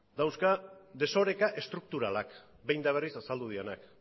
dauzka desorekak estrukturalak behin eta berriz azaldu direnak